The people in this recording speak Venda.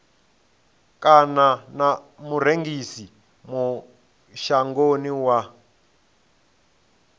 kana na murengisi mashangoni wa